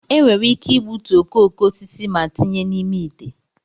enwere ike igbutu okooko osisi ma tinye n'ime ite